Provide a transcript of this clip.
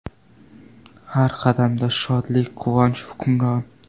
Har qadamda shodlik, quvonch hukmron.